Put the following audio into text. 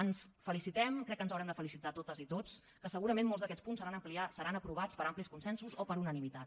ens felicitem crec que ens haurem de felicitar totes i tots que segurament molts d’aquests punts seran aprovats per amplis consensos o per unanimitat